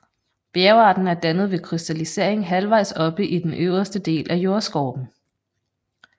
Bjergarten er dannet ved krystallisering halvvejs oppe i den øverste del af jordskorpen